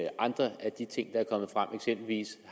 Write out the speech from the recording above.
andre af de ting der er kommet frem eksempelvis